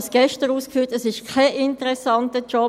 Es ist für Studierende kein interessanter Job;